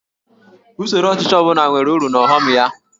Usoro ọchịchị ọ bụla nwere uru na ọghọm ya